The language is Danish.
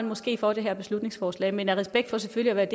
måske for det her beslutningsforslag men af respekt for selvfølgelig at